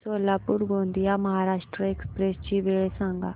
Solapur Gondia Maharashtra express ची वेळ सांगा